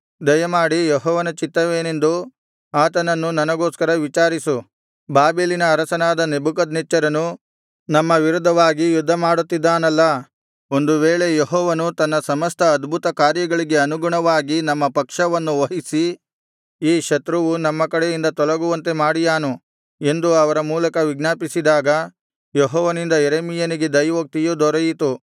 ದಯಮಾಡಿ ಯೆಹೋವನ ಚಿತ್ತವೇನೆಂದು ಆತನನ್ನು ನಮಗೋಸ್ಕರ ವಿಚಾರಿಸು ಬಾಬೆಲಿನ ಅರಸನಾದ ನೆಬೂಕದ್ನೆಚ್ಚರನು ನಮ್ಮ ವಿರುದ್ಧವಾಗಿ ಯುದ್ಧ ಮಾಡುತ್ತಿದ್ದಾನಲ್ಲಾ ಒಂದು ವೇಳೆ ಯೆಹೋವನು ತನ್ನ ಸಮಸ್ತ ಅದ್ಭುತಕಾರ್ಯಗಳಿಗೆ ಅನುಗುಣವಾಗಿ ನಮ್ಮ ಪಕ್ಷವನ್ನು ವಹಿಸಿ ಈ ಶತ್ರುವು ನಮ್ಮ ಕಡೆಯಿಂದ ತೊಲಗುವಂತೆ ಮಾಡಿಯಾನು ಎಂದು ಅವರ ಮೂಲಕ ವಿಜ್ಞಾಪಿಸಿದಾಗ ಯೆಹೋವನಿಂದ ಯೆರೆಮೀಯನಿಗೆ ದೈವೋಕ್ತಿಯು ದೊರೆಯಿತು